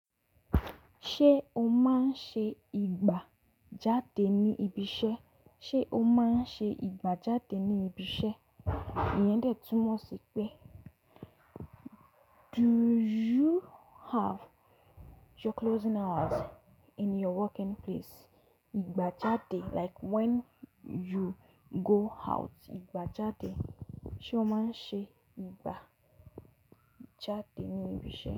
Ṣé o máa ń ṣe ìgbà jáde ní ibi iṣẹ́? Ṣé o máa ń ṣe ìgbà jáde ní ibi iṣẹ́? Iyẹn dẹ túnmọ̀ sí pé do you have your closing hours in your working place? Ìgbà jáde like when you go out. Ìgbà jáde. Ṣé o máa ń ṣe ìgbà jáde ní ibi iṣẹ́?